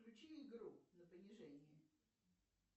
включи игру на понижение